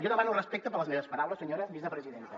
jo demano respecte per les meves paraules senyora vicepresidenta